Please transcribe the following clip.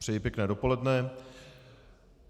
Přeji pěkné dopoledne.